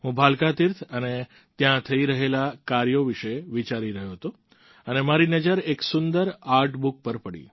હું ભાલકા તીર્થ અને ત્યાં થઈ રહેલા કાર્યો વિશે વિચારી રહ્યો હતો અને મારી નજર એક સુંદર આર્ટ બુક પર પડી